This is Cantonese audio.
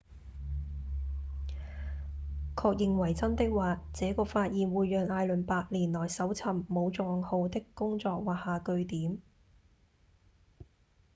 確認為真的話這個發現會讓艾倫八年來搜尋武藏號的工作畫下句點